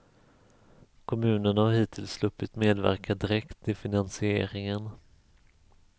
Kommunerna har hittills sluppit medverka direkt i finansieringen.